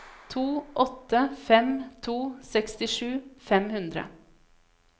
to åtte fem to sekstisju fem hundre